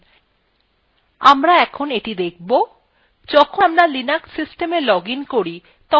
যখন আমরা linux systema login করি তখন আমরা স্বাভাবিকভাবে home directory আসি